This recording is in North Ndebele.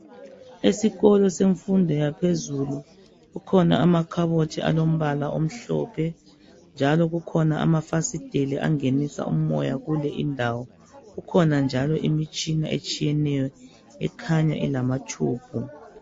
Esikolo semfundo yaphezulu, kukhona amakhabothi alombala omhlophe. Kukhona njalo amafasiteli angenisa umoya kule indawo. Kukhona njalo imitshina etshiyeneyo, ekhanya ilamatshubhu.